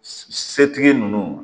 Setigi ninnu